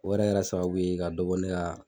O yɛrɛ kɛrɛ sababu ye ka dɔ bɔ ne ka.